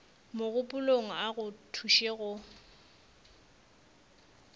mogopolong a go thuše go